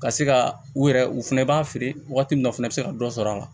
Ka se ka u yɛrɛ u fɛnɛ b'a feere wagati min na o fɛnɛ be se ka dɔ sɔrɔ a la